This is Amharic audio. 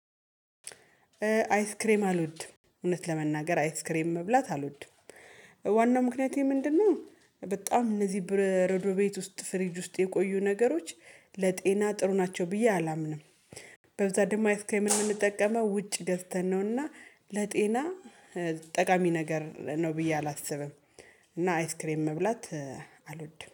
አይስክሬም አልወድም እውነት ለመናገር አይስክሬም መብላት አልወድም። ዋናው ምክንያቴ ምንድነው? በጣም እነዚህ ብር ረዶ ቤት ውስጥ ፍሪጅ ውስጥ የቆዩ ነገሮች ለጤና ጥሩ ናቸው ብዬ አላምንም። በብዛት ደሞ አይስክሬምን ምንጠቀመው ውጭ ገዝተን ነውና። ለጤና ጠቃሚ ነገር ነው ብዬ አላስብም። እና አይስክሬም መብላት አልወድም